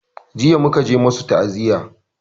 Jiya muka je masu ta'aziya